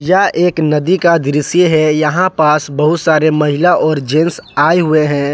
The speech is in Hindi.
यह एक नदी का दृश्य है यहां पास बहुत सारे महिला और जेंट्स आए हुए हैं।